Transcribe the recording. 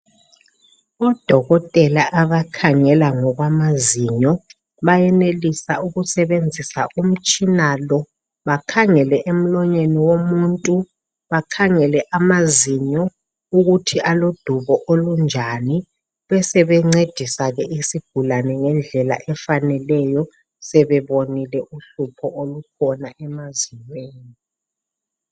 odokotela abakhangela ngokwamazinyo bayenelisa ukusebenzisa umtshina lo bakhangele emlonyeni womuntu bakhangele amazinyo ukuthi alodubo olunjani besebencedisa ke isigulane ngendlela efaneleyo sebebonile uhlupho olukhona emazinyweni